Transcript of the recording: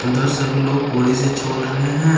उधर से भी लोग कोड़ी से छोल रहे हैं।